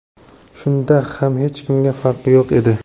Shunda ham hech kimga farqi yo‘q edi.